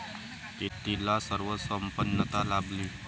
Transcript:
तिला सर्व संपन्नता लाभली.